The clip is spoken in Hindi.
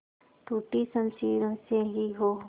टूटी शमशीरों से ही हो